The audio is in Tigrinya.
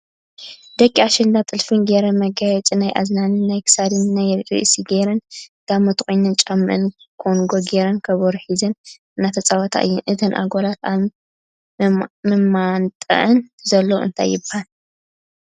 ደቂ ኣሸንዳ ጥልፈን ጌረን መጋየፂ ናይ እዝኒን ናይ ክሳድ፣ ናይ ርእሲ ገይረን ጋመ ተቆኒነን፣ ጫምአን ኮንጎ ጌረን ከበሮ ሒዘን እናተፃወታ እየን ። እተን ኣጋላት ኣብ መማንጠአን ዘሎ እንታይ ይበሃል ?